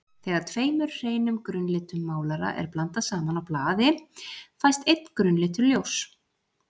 Þegar tveimur hreinum grunnlitum málara er blandað saman á blaði fæst einn grunnlitur ljóss.